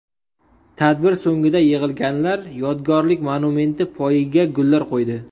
Tadbir so‘ngida yig‘ilganlar yodgorlik monumenti poyiga gullar qo‘ydi.